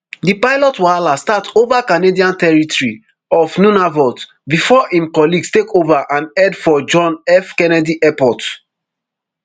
di pilot wahala start ova canadian territory of nunavut bifor im colleagues take ova and head for john f kennedy airport